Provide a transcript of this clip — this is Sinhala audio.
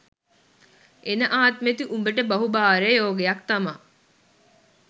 එන ආත්මෙදි උබට බහු භාර්යා යෝගයක් තමා